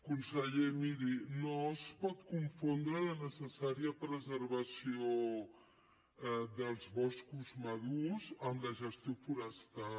conseller miri no es pot confondre la necessària preservació dels boscos madurs amb la gestió forestal